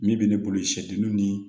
Min bɛ ne bolo sɛgɛnw ni